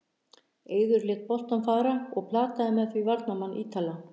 Eiður lét boltann fara og plataði með því varnarmann Ítala.